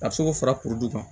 A bɛ se k'o fara kuru kan